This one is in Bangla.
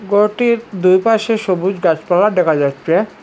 ঘরটির দুই পাশে সবুজ গাছপালা দেখা যাচ্ছে।